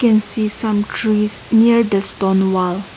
and see some trees near the stone wall--